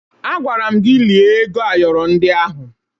Agwara m gị lie ego ayọrọ ndị ahụ!